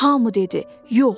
Hamı dedi: Yox.